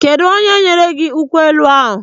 Kedụ onye nyere gị nkwụ elu ahụ?